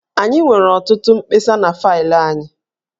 Anyị nwere ọtụtụ mkpesa na faịlụ anyị